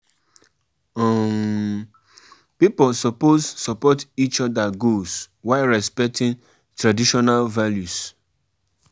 I hear say una don prepare everything wey una go carry go una grandmama house dis holiday